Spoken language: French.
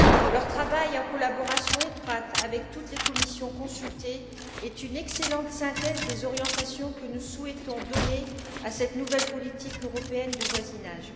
Leur travail, en collaboration étroite avec toutes les commissions consultées, est une excellente synthèse des orientations que nous souhaitons donner à cette nouvelle politique européenne de voisinage.